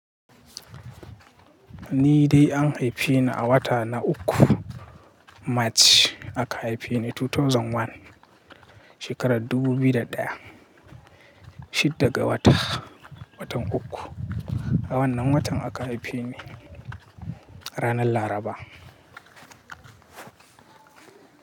Ni dai an haife ni a wata na uku, March aka haife ni 2001, shekarar dubu biyu da ɗaya. Shidda ga wata, watan uku. A wannan watan aka haife ni ranar Laraba.